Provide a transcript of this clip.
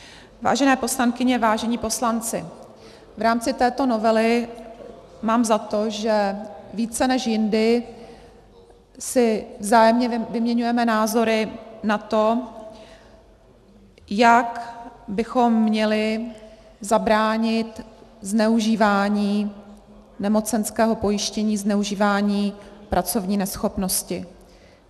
Vážené poslankyně, vážení poslanci, v rámci této novely mám za to, že více než jindy si vzájemně vyměňujeme názory na to, jak bychom měli zabránit zneužívání nemocenského pojištění, zneužívání pracovní neschopnosti.